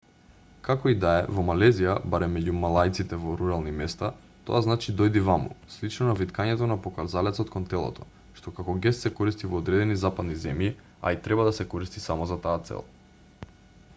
како и да е во малезија барем меѓу малајците во рурални места тоа значи дојди ваму слично на виткањето на показалецот кон телото што како гест се користи во одредени западни земји а и треба да се користи само за таа цел